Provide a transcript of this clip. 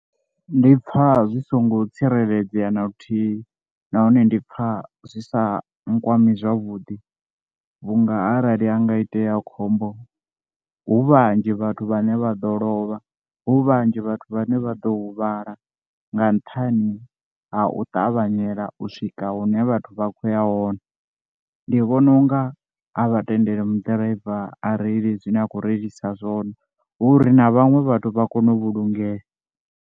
Ndi pfha zwi songo tsireledzea na luthihi nahone ndi pfha zwi sa nkwama zwavhuḓi vhunga arali ha nga itea khombo, hu vhanzhi vhathu vhane vha ḓo lovha, hu vhanzhi vhathu vhane vha ḓo huvhala nga nṱhani ha u ṱavhanyela u swika hune vhathu vha khou ya hone, ndi vhona unga a vha tendeli maḓiraiva areile zwine a khou reilisa zwone hu uri na vhaṅwe vhathu vha kone u vhulungea.